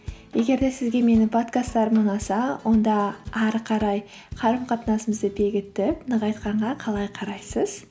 егер де сізге менің подкасттарым ұнаса онда ары қарай қарым қатынасымызды бекітіп нығайтқанға қалай қарайсыз